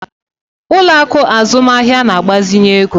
Ụlọ akụ azụmaahịa na-agbazinye ego.